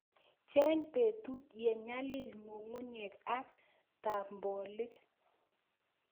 Cheng petut ye nyalil ng'ung'unyek ak tabolik